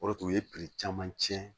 O de tun ye caman tiɲɛ